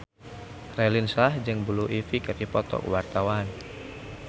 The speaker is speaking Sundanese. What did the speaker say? Raline Shah jeung Blue Ivy keur dipoto ku wartawan